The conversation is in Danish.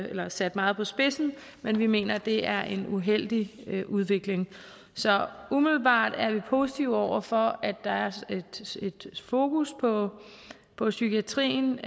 eller sat meget på spidsen men vi mener at det er en uheldig udvikling så umiddelbart er vi positive over for at der er et fokus på på psykiatrien